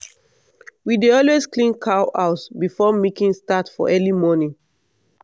we dey always clean cow house before milking start for early morning.